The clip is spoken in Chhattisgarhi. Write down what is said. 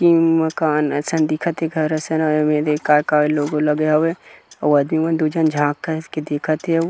किंग मकान असन दिखत हे घर असन अऊ ए मेर अऊ एमेर एदे का-का लोगों लगे हवय अऊ आदमी मन दु झन झांक झांक के देखटत हे अऊ--